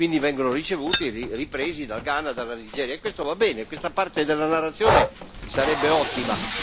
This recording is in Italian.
Quindi vengono ricevuti e ripresi dal Ghana, dalla Nigeria, e questo va bene, questa parte della narrazione sarebbe ottima.